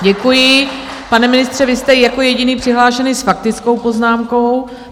Děkuji, pane ministře, vy jste jako jediný přihlášený s faktickou poznámkou.